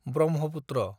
Brahmaputra